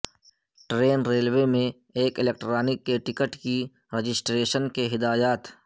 train railway میں ایک electronic کے ٹکٹ کی رجسٹریشن کے لئے ہدایات